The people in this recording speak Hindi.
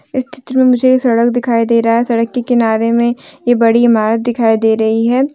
इस चित्र में मुझे एक सड़क दिखाई दे रहा है सड़क के किनारे में ये बड़ी इमारत दिखाई दे रही है।